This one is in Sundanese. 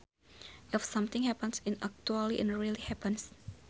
If something happens in actuality it really happens